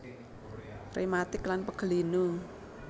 Rematik lan pegel linu